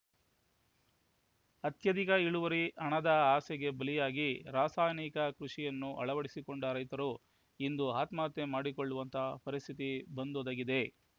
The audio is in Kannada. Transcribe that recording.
ಅತ್ಯಧಿಕ ಇಳುವರಿ ಹಣದ ಆಸೆಗೆ ಬಲಿಯಾಗಿ ರಾಸಾಯನಿಕ ಕೃಷಿಯನ್ನು ಅಳವಡಿಸಿಕೊಂಡ ರೈತರು ಇಂದು ಆತ್ಮಹತ್ಯೆ ಮಾಡಿಕೊಳ್ಳುವಂತಹ ಪರಿಸ್ಥಿತಿ ಬಂದೊದಗಿದೆ